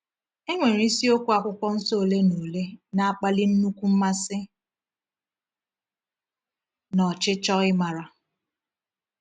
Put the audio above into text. E nwere isiokwu Akwụkwọ Nsọ ole na ole na-akpali nnukwu mmasị na ọchịchọ ịmara.